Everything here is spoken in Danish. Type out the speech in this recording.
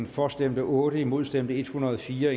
for stemte otte imod stemte en hundrede og fire